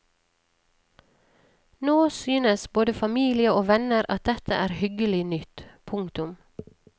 Nå synes både familie og venner at dette er hyggelig nytt. punktum